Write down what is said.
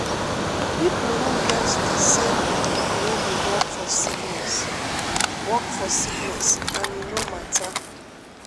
pipo no get di same belief wey dey work for sickness work for sickness and e no mata.